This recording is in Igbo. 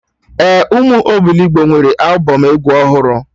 Ee, ụmụ obilogbo nwere albọm egwu ọhụrụ